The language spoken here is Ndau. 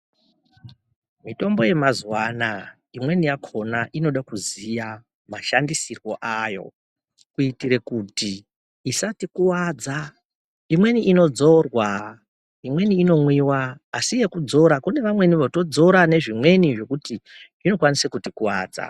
Mitombo yemazuvanaa imweni yakhona inoda kuziya mashandisirwe ayo kuitira kuti isatikuwadza imweni inodzorwa imweni inomwiwa asi yekudzora kune vamweni votodzora nezvimweni zvekuti zvinokwanisa kutikuwadza.